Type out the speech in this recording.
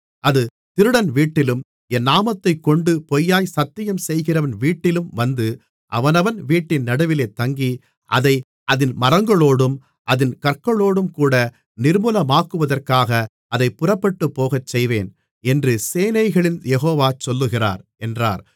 அது திருடன் வீட்டிலும் என் நாமத்தைக்கொண்டு பொய்யாக சத்தியம் செய்கிறவன் வீட்டிலும் வந்து அவனவன் வீட்டின் நடுவிலே தங்கி அதை அதின் மரங்களோடும் அதின் கற்களோடும்கூட நிர்மூலமாக்குவதற்காக அதைப் புறப்பட்டுப்போகச்செய்வேன் என்று சேனைகளின் யெகோவா சொல்லுகிறார் என்றார்